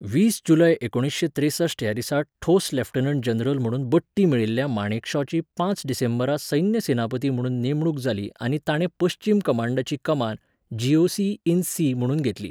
वीस जुलय एकुणशें त्रेसश्ट ह्या दिसा ठोस लेफ्टनंट जनरल म्हणून बडटी मेळिल्ल्या माणेकशाची पांच डिसेंबरा सैन्य सेनापती म्हुणून नेमणूक जाली आनी ताणें पश्चीम कमांडाची कमान, जीओसी इन सी म्हुणून घेतली.